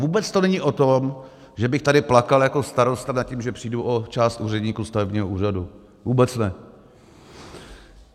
Vůbec to není o tom, že bych tady plakal jako starosta nad tím, že přijdu o část úředníků stavebního úřadu, vůbec ne.